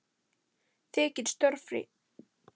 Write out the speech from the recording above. Þykir stórfé.